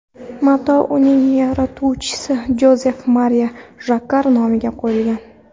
Mato uning yaratuvchisi Jozef Mariya Jakkar nomiga qo‘yilgan.